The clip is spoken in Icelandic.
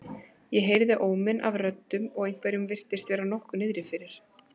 Ég heyrði óminn af röddum og einhverjum virtist vera nokkuð niðri fyrir.